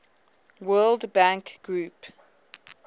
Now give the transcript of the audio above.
world bank group